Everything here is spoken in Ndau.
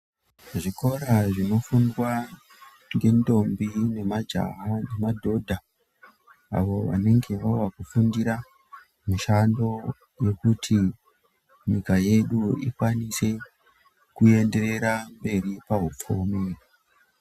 Zvikora zvinofundwa ngendombi nemajaha nemadhodha avo vanenge Vavokufundira mushando Kuti nyika yedu ikwanise kuenderera mberi paupfumi.